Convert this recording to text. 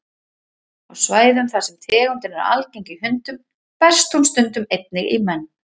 Á svæðum þar sem tegundin er algeng í hundum berst hún stundum einnig í menn.